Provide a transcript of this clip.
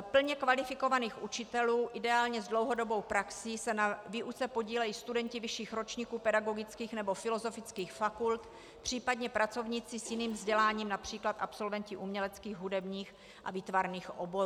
plně kvalifikovaných učitelů ideálně s dlouhodobou praxí se na výuce podílejí studenti vyšších ročníků pedagogických nebo filozofických fakult, případně pracovníci s jiným vzděláním, například absolventi uměleckých, hudebních a výtvarných oborů.